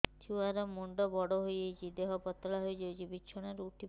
ଛୁଆ ର ମୁଣ୍ଡ ବଡ ହୋଇଯାଉଛି ଦେହ ପତଳା ହୋଇଯାଉଛି ବିଛଣାରୁ ଉଠି ପାରୁନାହିଁ